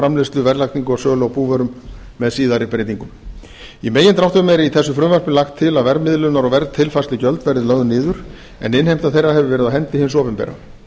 framleiðslu verðlagningu og sölu á búvörum með síðari breytingum í megindráttum er í þessu frumvarpi lagt til að verðmiðlunar og verðtilfærslugjöld verði lögð niður en innheimta þeirra hefur verið á hendi hins opinbera